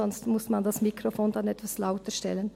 Sonst muss man das Mikrofon dann etwas lauter stellen.